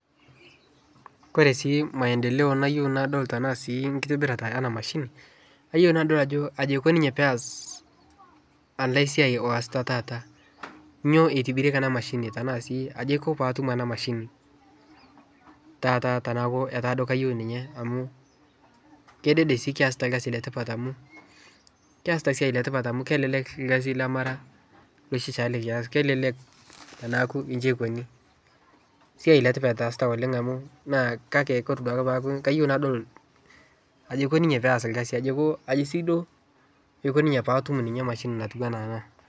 Ore si maendeleo nayieu nadol tena sii ekitobirata ena mashini ayieu nadol ajo aji ikoni ninye pee eas ole siai oasita taata, nyoo itibirieki ena mashini tenaa sii aji aiko peyie aatum ena mashini taata teneaku kayieu ninye , kedede si keasita erkasi le tipat amu keesita esiai etipat amu kelelek ekasi le mara noshi nikias kelelek, teniaku ji eikoni siai le tipat eesita amu naa kake ore duaoke kayieu nadol aji eiko ninye pee eas esiai eiko kaji sa iko paa atum emashini ana ena.